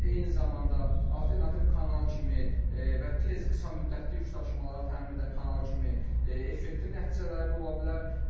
Eyni zamanda alternativ kanal kimi və tez qısa müddətli yükdaşımaları təmin edən kanal kimi effektiv nəticələri də ola bilər.